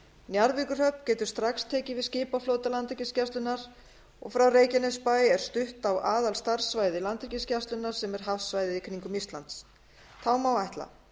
njarðvíkurhöfn getur strax tekið við skipaflota landhelgisgæslunnar frá reykjanesbæ er stutt á aðalstarfssvæði landhelgisgæslunnar hafsvæðið í kringum ísland þá má ætla